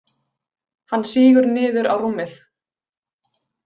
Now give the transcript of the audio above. Hann sígur niður á rúmið.